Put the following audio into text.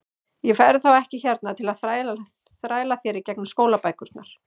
Ég verð þá ekki hérna til að þræla þér í gegnum skólabækurnar.